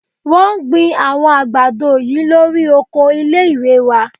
Wọ́n gbin àwọn àgbàdo yìí lórí oko ilé-ìwé náà